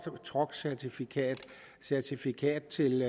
truckcertifikat certifikat til